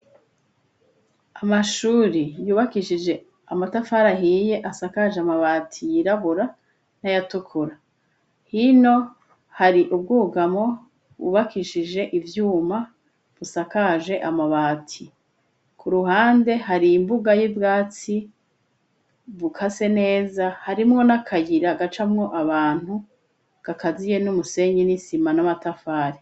Amashuri yubakishije amatafarahiye asakaje amabati yirabura n'ayatukura hino hari ubwugamo bubakishije ivyuma busakaje amabati ku ruhande hari imbuga y'ibwatsi buka sene meza harimwo n'akayira agacamwo abantu gakaziye n'umusenyi n'isima n'amatafari.